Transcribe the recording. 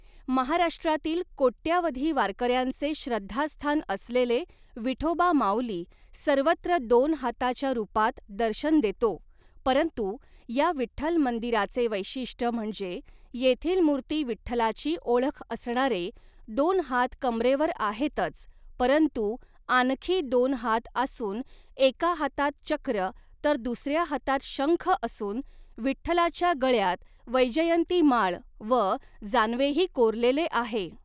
महाराष्टातील कोट्यावधी वारकऱ्यांचे श्रद्धास्थान असलेले विठोबा माऊली सर्वत्र दोन हाताच्या रूपात दर्शन देतो परंतु या विठ्ठल मंदीराचे वैशिष्ट म्हणजे येथील मुर्ती विठ्ठलाची ओळख असणारे दोन हात कमरेवर आहेतच परंतु आनखी दोन हात आसुन एका हातात चक्र तर दुसऱ्या हातात शंख असुन विठ्ठलाच्या गळ्यात वैजयंती माळ व जानवेही कोरलेले आहे.